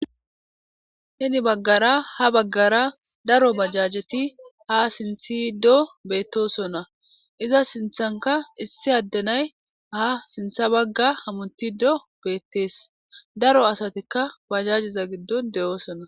Gede baggara ha baggara daro bajajeti ha simisido doosona. Iza sinththankka issi adde day ha sinththa bagga hamuttido beettes. Daro asatikka bajajeza giddon de'osona.